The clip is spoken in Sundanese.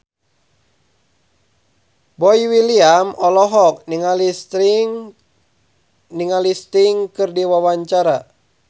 Boy William olohok ningali Sting keur diwawancara